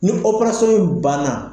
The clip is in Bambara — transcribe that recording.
Ni in banna